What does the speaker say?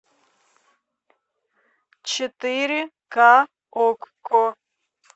четыре ка окко